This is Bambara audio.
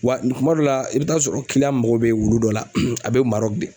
Wa kuma dɔ la i bɛ taa sɔrɔ mago bɛ wulu dɔ la a bɛ Marɔki.